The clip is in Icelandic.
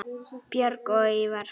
Björg og Ívar.